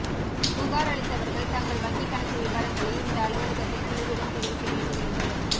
புகார் அளித்தவர்கள் தங்கள் வங்கி கணக்கு விபரங்களை இந்த அலுவலகத்தில் குழுவிடம் தெரிவிக்க வேண்டும் என்று